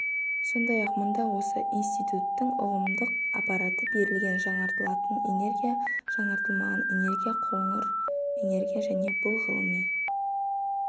сондай-ақ мұнда осы институттың ұғымдық аппараты берілген жаңартылатын энергия жаңартылмаған энергия қоңыр энергия және бұл ғылыми